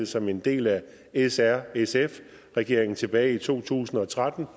som en del af srsf regeringen tilbage i to tusind og tretten